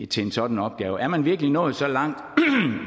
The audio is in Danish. til en sådan opgave er man virkelig nået så langt